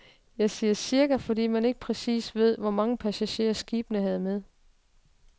Jeg siger cirka, fordi man ikke præcis ved, hvor mange passagerer skibene havde med.